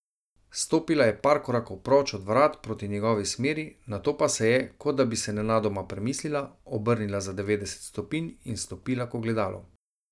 Stopila je par korakov proč od vrat proti njegovi smeri, nato pa se je, kot da bi se nenadoma premislila, obrnila za devetdeset stopinj in stopila k ogledalu.